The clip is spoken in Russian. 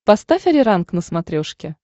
поставь ариранг на смотрешке